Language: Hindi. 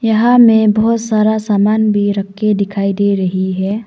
यहां में बहोत सारा समान भी रख के दिखाई दे रही है।